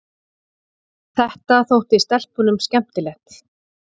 Þetta þótti stelpunum skemmtilegt.